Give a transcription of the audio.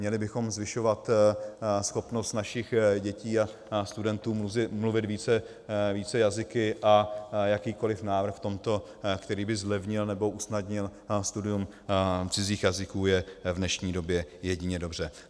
Měli bychom zvyšovat schopnost našich dětí a studentů mluvit více jazyky, a jakýkoli návrh v tomto, který by zlevnil nebo usnadnil studium cizích jazyků, je v dnešní době jedině dobře.